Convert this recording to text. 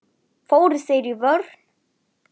Fóru þeir í vörn?